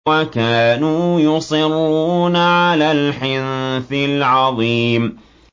وَكَانُوا يُصِرُّونَ عَلَى الْحِنثِ الْعَظِيمِ